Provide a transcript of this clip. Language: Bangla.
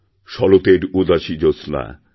শরতের উদাসী জ্যোৎস্না